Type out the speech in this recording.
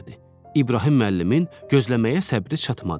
İbrahim müəllimin gözləməyə səbri çatmadı.